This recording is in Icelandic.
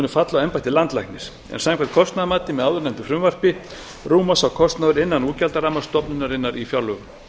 falla á embætti landlæknis en samkvæmt kostnaðamati með áðurnefndu frumvarpi rúmast sá kostnaður innan útgjaldaramma stofnunarinnar í fjárlögum